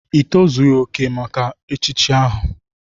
Ị tozughị oke maka echichi ahu!